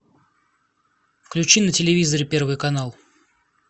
включи на телевизоре первый канал